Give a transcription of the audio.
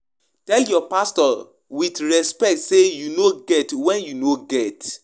If your mind gree you give as your pocket reach no empty your account to please dem